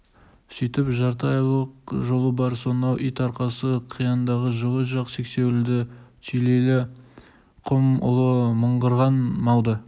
өстіп жарты айлық жолы бар сонау ит арқасы қияндағы жылы жақ сексеуілді түлейлі құм ұлы мыңғырған малды